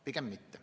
Pigem mitte.